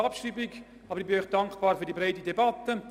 Ich bin dankbar für die breite Debatte.